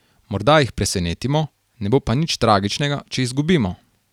Morda jih presenetimo, ne bo pa nič tragičnega, če izgubimo.